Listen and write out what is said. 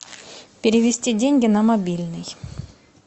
перевести деньги на мобильный